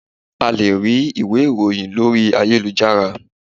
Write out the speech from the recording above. A lè rí ìwé ìròhìn lórí ayélujára.